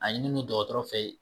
A ɲini non dɔkɔtɔrɔ fɛ